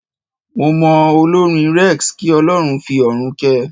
Mo mọ olórin Rex, kí Ọlọ́run fi ọ̀run kẹ́ẹ.